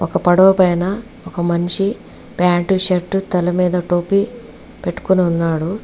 ఒక పడవ పైన ఒక మనిషి ప్యాంటు షర్టు తల మీద టోపీ పెట్టుకొని వున్నాడు.